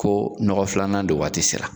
Ko nɔgɔ filanan don waati sera